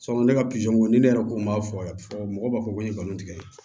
ne ka pizɔn ko ne yɛrɛ ko n ma fɔ a ye fɔ mɔgɔ b'a fɔ ko n ye nkalon tigɛ